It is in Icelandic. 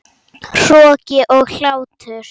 Hroki og hlátur.